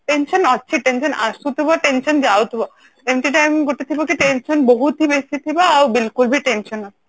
tension ଅଛି tension ଆସୁଥିବ tension ଯାଉଥିବ ଏମିତି time ଗୋଟେ ଥିବ କି tension ବହୁତ ହିଁ ବେଶି ଥିବ ଆଉ ବିଲକୁଲ ବି tension ନଥିବ